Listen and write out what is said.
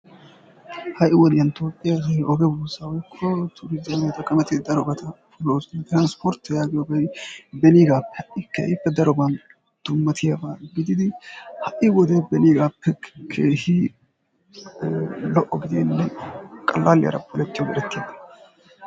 Ha'i wodiyaan toophphiyaa asay oge buussaa woykko tuuriizimiya xaqamattidi darobatta lo'oosona. Transpprttiya yaagiyoogee beniigaappe ha'i daroban dummattiyaabaa gididi ha'i wode beniigaappe keehiidi lo'o gididi qalaaliyara polettiyoogee erettiyaaba.